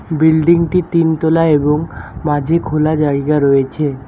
বিল্ডিংটি তিনতলা এবং মাঝে খোলা জায়গা রয়েছে।